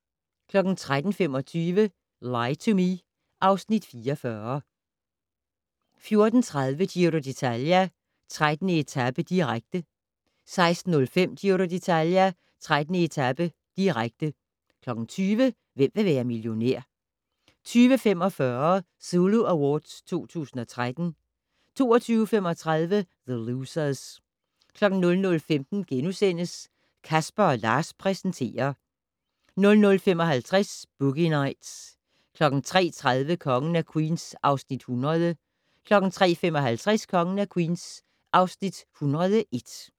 13:25: Lie to Me (Afs. 44) 14:30: Giro d'Italia: 13. etape, direkte 16:05: Giro d'Italia: 13. etape, direkte 20:00: Hvem vil være millionær? 20:45: Zulu Awards 2013 22:35: The Losers 00:15: Casper & Lars præsenterer * 00:55: Boogie Nights 03:30: Kongen af Queens (Afs. 100) 03:55: Kongen af Queens (Afs. 101)